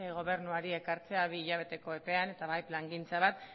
gobernuari ekartzea bi hilabeteko epean baita plangintza bat